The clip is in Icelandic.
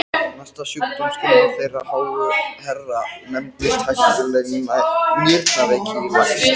Næsta sjúkdómsgreining þeirra háu herra nefndist hættuleg nýrnaveiki í laxi!